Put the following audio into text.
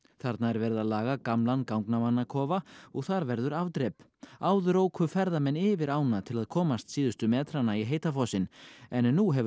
þarna er verið að laga gamlan gangnamannakofa og þar verður afdrep áður óku ferðamenn yfir ána til að komast síðustu metrana í heita fossinn en nú hefur